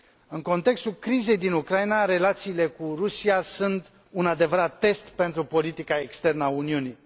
În contextul crizei din Ucraina, relațiile cu Rusia sunt un adevărat test pentru politica externă a Uniunii.